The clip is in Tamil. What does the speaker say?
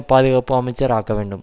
பாதுகாப்பு அமைச்சர் ஆக்கவேண்டும்